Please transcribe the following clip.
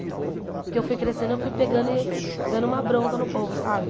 Porque eu fui crescendo, eu fui pegando e dando uma bronca no povo, sabe?